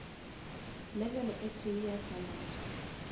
level e tee ya salary